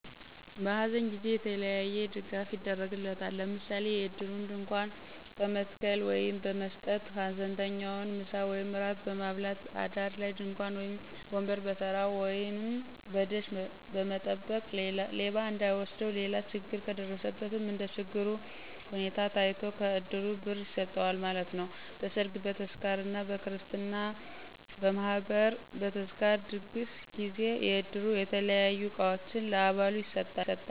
በሃዘን ጊዜ የተለያየ ድጋፍ ይደረግለታል፤ ለምሣሌ የዕድሩን ድንኳን በመጣል ወይም በመሥጠት፣ ሀዘንተኛውን ምሣ ወይም እራት በማብላት፣ አዳር ላይ ድንኳን ወይም ወንበር በተራ ወይንም በደሽ መጠበቅ ሌባ እንዳይወስደው። ሌላ ችግር ከደረሠበትም እንደችግሩ ሁኔታ ታይቶ ከዕድሩ ብር ይሠጠዋል ማለት ነው። በሠርግ፣ በክርሥትና፣ በማህበር፣ በተዝካር ድግስ ጊዜ የዕድሩ የተለያዩ ዕቃዎችን ለአባሉ ይሠጣል።